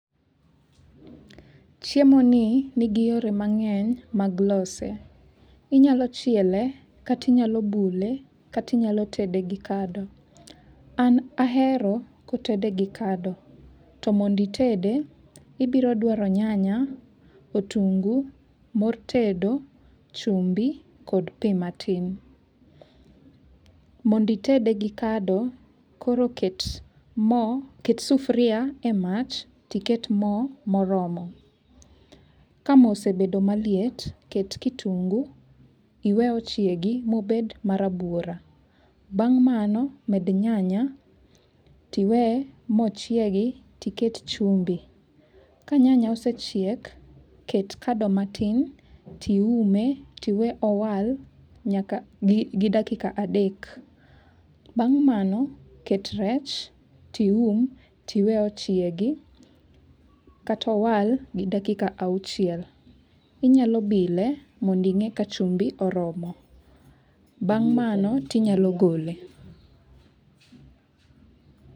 Chiemo ni nigi yore mang'eny mag lose. Inyalo chiele kata inyalo bule, kata inyalo tede gi kado. An ahero kotede gi kado. To mond itede, ibiro dwaro nyanya, otungu, mor tedo, chumbi, kod pi matin. Mond itede gi kado, koro ket mo ket sufuria e mach to iket mo moromo. Ka mo osebedo maliet, ket kitungu iwe ochiegi mobed ma rabuora. Bang' mano, med nyanya tiwe mochiegi tiket chumbi. Ka nyanya osechiek, ket kado matin tiume tiwe owal nyaka gi dakika adek(3). Bang' mano, ket rech tium tiwe ochiegi kata owal gi dakika auchiel(6). Inyalo bile mond ing'e ka chumbi oromo. Bang' mano tinyalo gole.